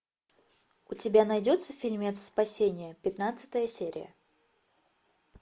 у тебя найдется фильмец спасение пятнадцатая серия